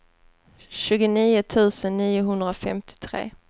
tjugonio tusen niohundrafemtiotre